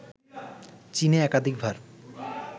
চীন একাধিকবার